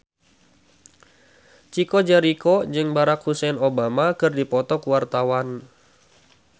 Chico Jericho jeung Barack Hussein Obama keur dipoto ku wartawan